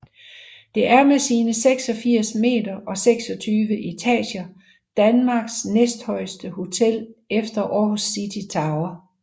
Det er med sine 86 meter og 26 etager Danmarks næsthøjeste hotel efter Aarhus City Tower